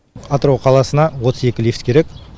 атырау қаласына отыз екі лифт керек